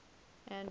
andro